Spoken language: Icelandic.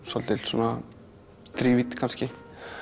svolítil svona þrívídd kannski